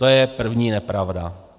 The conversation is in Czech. To je první nepravda.